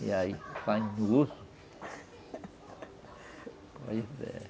E aí, saindo do osso... Pois, é.